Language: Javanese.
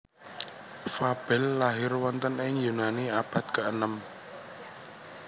Fabel lahir wonten ing Yunani abad keenem